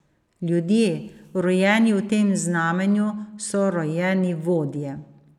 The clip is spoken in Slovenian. Ljudje, rojeni v tem znamenju, so rojeni vodje.